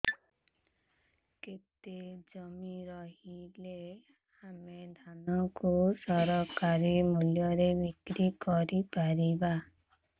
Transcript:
କେତେ ଜମି ରହିଲେ ଆମେ ଧାନ କୁ ସରକାରୀ ମୂଲ୍ଯରେ ବିକ୍ରି କରିପାରିବା